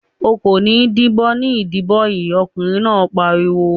"O kò ní dìbò ní ìdìbò yìí!" Ọkùnrin náà pariwo.